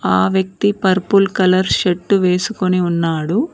ఆ వ్యక్తి purple colour shirt వేసుకుని ఉన్నాడు.